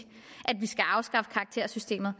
at karaktersystemet